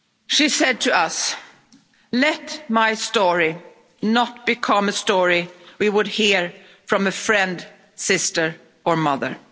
She said to us, Let my story not become a story we would hear from a friend, sister or mother'.